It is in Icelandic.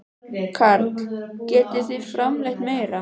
Karl: Getið þið framleitt meira?